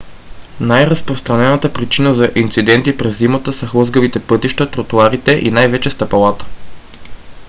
най-разпространената причина за инциденти през зимата са хлъзгавите пътища тротоарите и най-вече стъпалата